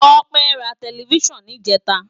Tope rá tèlèfisán nijètá